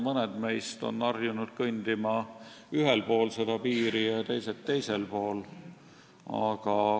Mõned meist on harjunud kõndima ühel pool piiri ja teised teisel pool.